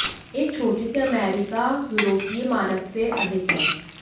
एक छोटी सी अमेरिका यूरोपीय मानक से अधिक है